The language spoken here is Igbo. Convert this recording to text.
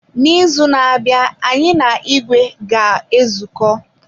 N'izu na-abịa, anyị na ìgwè ga-ezuko.